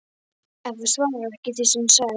En þú svarar ekki því sem ég sagði